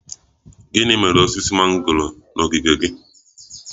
Gịnị mere osisi mango na ogige gị?